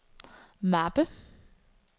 mappe